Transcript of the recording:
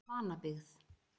Vanabyggð